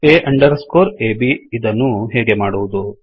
A underscore ab ಇದನ್ನು ಹೇಗೆ ಮಾಡುವುದು